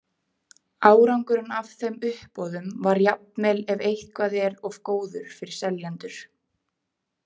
Árangurinn af þeim uppboðum var jafnvel ef eitthvað er of góður fyrir seljendur.